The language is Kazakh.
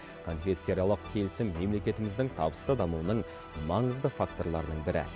конфессияаралық келісім мемлекетіміздің табысты дамуының маңызды факторларының бірі